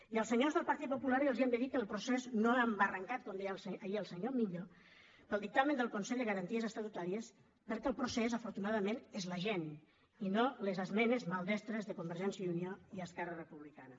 i als senyors del partit popular els hem de dir que el procés no ha embarrancat com deia ahir el senyor millo pel dictamen del consell de garanties estatutàries perquè el procés afortunadament és la gent i no les esmenes maldestres de convergència i unió i esquerra republicana